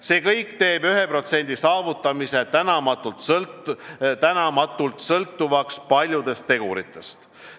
See kõik teeb 1% saavutamise tänamatult sõltuvaks paljudest teguritest.